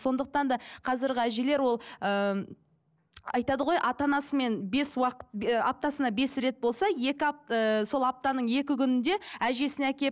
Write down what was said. сондықтан да қазіргі әжелер ол ыыы айтады ғой ата анасымен бес уақыт ы аптасына бес рет болса екі ыыы сол аптаның екі күнінде әжесіне